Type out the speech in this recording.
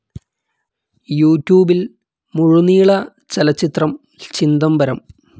യൂറ്റ്യൂബിൽ മുഴുനീള ചലച്ചിത്രം ചിദംബരം